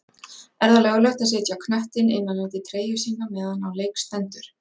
Er það löglegt að setja knöttinn innan undir treyju sína meðan á leik stendur?